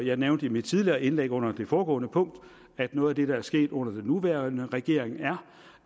jeg nævnte i mit tidligere indlæg under det foregående punkt at noget af det der er sket under den nuværende regering er